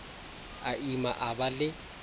a ima a ba le